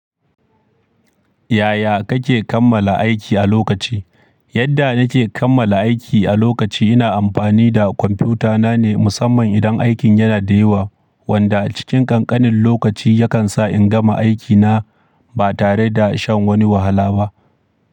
Yaya kake kammala aiki a lokaci? Yadda nake kammala aiki a lokaci ina amfani da kwamfuta na ne musamman idan aikin yana da yawa. Wanda a cikin ƙanƙanin lokaci yakan sa in gama aiki na ba tare da shan wani wahala ba.